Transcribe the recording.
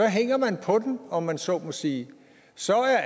hænger man på den om man så må sige så er